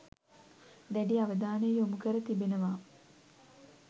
දැඩි අවධානය යොමු කර තිබෙනවා.